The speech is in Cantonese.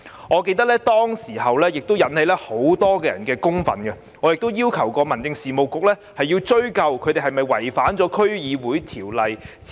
我記得當時引起很多人的憤怒，而我亦要求民政事務局追究他們有否違反《區議會條例》的指引。